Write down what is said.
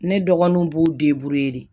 Ne dɔgɔninw b'u de